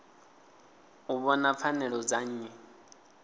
u vhona pfanelo dza nnyi